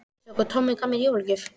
Sjáðu hvað Tommi gaf mér í jólagjöf